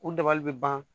U dabali bɛ ban